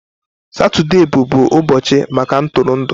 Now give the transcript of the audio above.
Satọde bụbu ụbọchị maka ntụrụndụ.